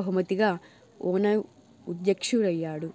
బహుమతిగా ఔనఉ అధ్యక్షు డయ్యాడు